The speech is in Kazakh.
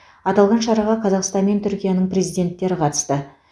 аталған шараға қазақстан мен түркияның президенттері қатысты